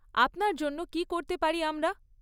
আপনার জন্য কী করতে পারি আমরা?